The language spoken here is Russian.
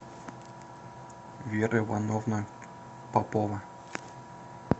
вера ивановна попова